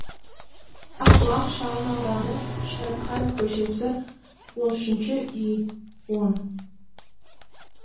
ақбұлақ шағын ауданы шәріпқанов көшесі он үшінші үй он